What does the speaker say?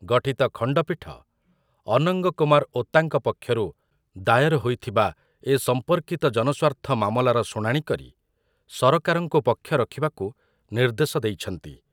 ଗଠିତ ଖଣ୍ଡପୀଠ ଅନଙ୍ଗ କୁମାର ଓତାଙ୍କ ପକ୍ଷରୁ ଦାୟର ହୋଇଥିବା ଏ ସମ୍ପର୍କିତ ଜନସ୍ୱାର୍ଥ ମାମଲାର ଶୁଣାଣି କରି ସରକାରଙ୍କୁ ପକ୍ଷ ରଖିବାକୁ ନିର୍ଦ୍ଦେଶ ଦେଇଛନ୍ତି ।